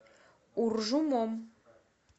уржумом